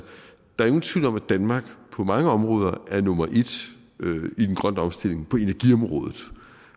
danmark på mange områder er nummer en i den grønne omstilling på energiområdet